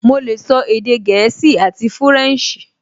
Mo lè sọ èdè gẹ̀ẹ́sì àti fúrẹ̀nsì